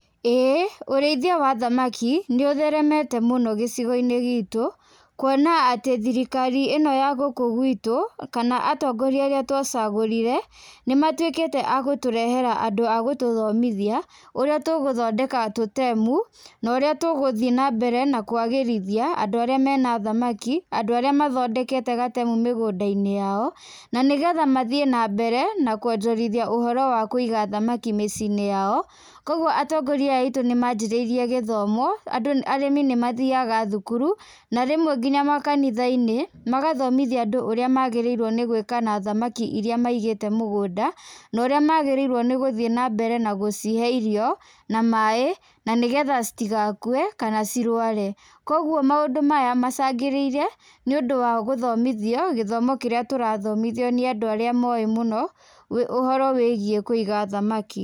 ĩĩ ũrĩithia wa thamaki nĩ ũtheremete mũno gĩcigo-inĩ giitũ, kuona atĩ thirikari ĩno ya gũkũ gwitũ, kana atongoria arĩa twacagũrire, nĩ matuĩkĩte a gũtũrehera andũ a gũtũthomithia, ũrĩa tũgũthondeka tũtemu, na ũrĩa tũgũthiĩ na mbere na kũagĩrithia andũ arĩa mena thamaki, andũ arĩa mathondekete gatemu mĩgũnda-inĩ yao, na nĩ getha mathiĩ na mbere na kuonjorithia ũhoro wa kũiga thamaki mĩciĩ-inĩ yao. Kũguo atongoria aya aitũ nĩ manjĩrĩirie gĩthomo andũ arĩmi nĩ mathiaga thukuru, na rĩmwe ngina makanitha-inĩ magathomithia andũ ũrĩa magĩrĩirwo nĩ gwĩka na thamaki irĩa maigĩte mũgũnda, na ũrĩa magĩrĩirwo nĩ gũthiĩ na mbere na gũcihe irio, na maĩ, na nĩ getha citigakue kana cirware. Kũguo maũndũ maya macangĩrĩirie nĩ ũndũ wa gũthomithio gĩthomo kĩrĩa tũrathomithio nĩ andũ arĩa moĩ mũno, ũhoro wĩgiĩ kũiga thamaki.